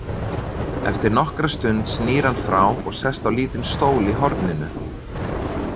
Eftir nokkra stund snýr hann frá og sest á lítinn stól í horninu.